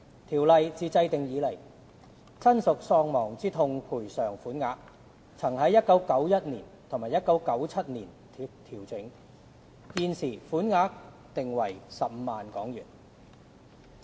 《條例》自制定以來，親屬喪亡之痛賠償款額曾在1991年及1997年調整，現時，款額訂為15萬元。